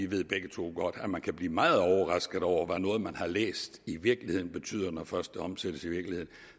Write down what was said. vi begge to godt ved at man kan blive meget overrasket over hvad noget man har læst i virkeligheden betyder når først det omsættes i virkeligheden